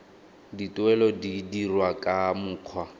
dituelo di dirwa ka mokgwa